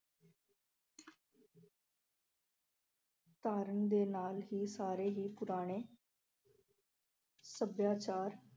ਧਾਰਨ ਦੇ ਨਾਲ ਹੀ ਸਾਰੇ ਹੀ ਪੁਰਾਣੇ ਸੱਭਿਆਚਾਰ